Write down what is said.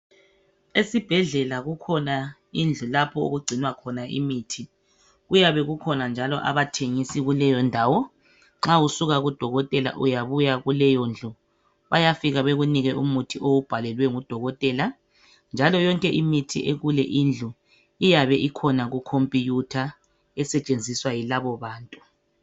Esibhedlela kukhona indlu lapho okugcinwa khona imithi . Kuyabe kukhona njalo abathengisi kuleyondawo. Nxa usuka kudokotela uyabuya kuleyondlu . Bayafika bekunike umuthi owubhalelwe ngudokotela njalo yonke imithi ekule indlu iyabe ikhona kukhompiyutha esetshenziswa yilabobantu.